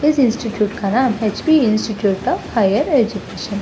इस इंस्टिट्यूट का नाम HP institute of higher education है।